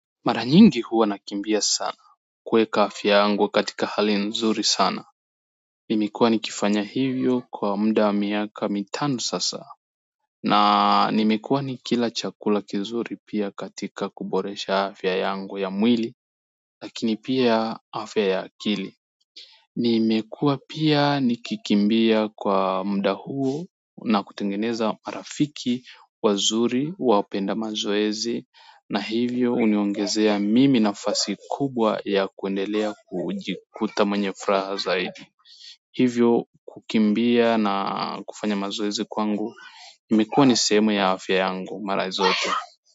Mara nyingi huwa nakimbia sana, kuweka afya yangu katika hali nzuri sana. Nimekuwa nikifanya hivyo kwa muda wa miaka mitano sasa na nimekuwa nikila chakula kizuri pia katika kuboresha afya yangu ya mwili, lakini pia afya ya akili. Nimekuwa pia nikikimbia kwa muda huo na kutengeneza marafiki wazuri wapenda mazoezi na hivyo huniongezea mimi nafasi kubwa ya kuendelea kujikuta mwenye furaha zaidi hivyo kukimbia na kufanya mazoezi kwangu imekuwa ni sehemu ya afya yangu mara zote.